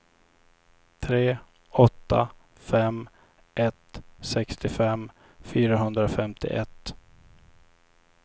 tre åtta fem ett sextiofem fyrahundrafemtioett